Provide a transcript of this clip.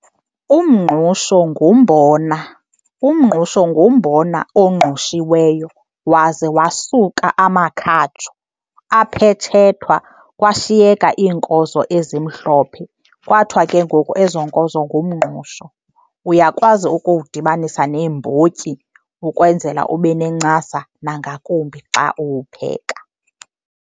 Umngqusho ngumbona. Umngqusho ngumbona ongqushiweyo waze wasuka amakhatshu, aphetshethwa kwashiyeka iinkozo ezimhlophe kwathiwa ke ngoku ezo nkozo ngumngqusho. Uyakwazi ukuwudibanisa neembotyi ukwenzela ube nencasa nangakumbi xa uwupheka.